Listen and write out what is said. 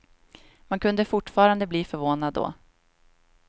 Man kunde fortfarande bli förvånad då.